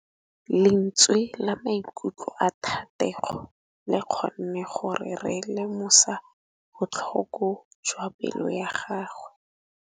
Lentswe la maikutlo a Thategô le kgonne gore re lemosa botlhoko jwa pelô ya gagwe.